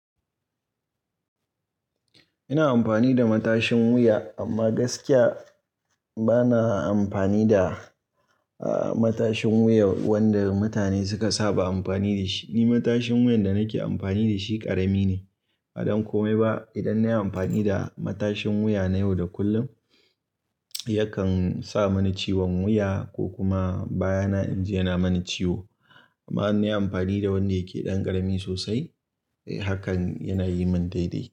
Ina amfani da matashin wuya, amma gaskiya bana amfani da, ah, matashin wuyan wanda mutane suka saba amfani da shi. Ni matashin wuyan da nake amfani da shi ƙarami ne. A dan komai ba idan nayi amfani da matashin wuya na yau da kullum yakan sa mani ciwon wuya ko kuma baya na in ji yana mani ciwo. Amma in nayi amfani da wanda yake ɗan ƙarami sosai, eh hakan yana yi min daidai.